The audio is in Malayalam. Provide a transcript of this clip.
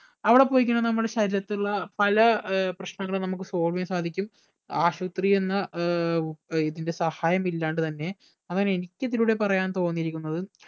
അവിടെ പോയി കഴിഞ്ഞ നമ്മടെ ശരീരത്തിലുള്ള പല ഏർ പ്രശ്‌നങ്ങളും നമ്മക്ക് solve ചെയ്യാൻ സാധിക്കും ആശുപത്രി എന്ന ഏർ ഇതിന്റെ സഹായം ഇല്ലാണ്ട് തന്നെ അങ്ങനിക്ക് ഇതിലൂടെ പറയാൻ തോന്നിയിരിക്കുന്നത്